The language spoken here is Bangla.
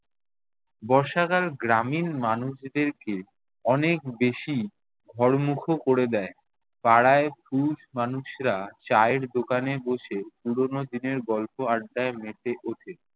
বর্ষাকাল গ্রামীণ মানুষদেরকে অনেক বেশি ঘরমুখো করে দে‍য়। পাড়ায় পুরুষ মানুষরা চায়ের দোকানে বসে পুরনো দিনের গল্প আড্ডায় মেতে ওঠে।